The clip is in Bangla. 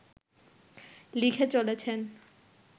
লিখে চলেছেন